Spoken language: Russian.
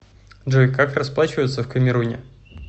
джой как расплачиваться в камеруне